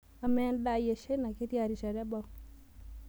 amaa endaa ai eshaina ketiaa rishata ebau